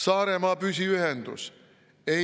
Saaremaa püsiühendus?